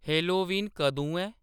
Halloween कदूं ऐ